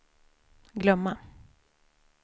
glömma